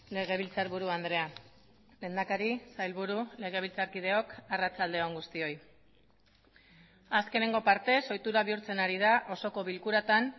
legebiltzarburu andrea lehendakari sailburu legebiltzarkideok arratsalde on guztioi azkenengo partez ohitura bihurtzen ari da osoko bilkuratan